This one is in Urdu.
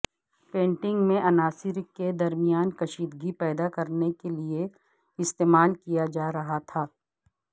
پینٹنگ میں عناصر کے درمیان کشیدگی پیدا کرنے کے لئے استعمال کیا جا رہا تھا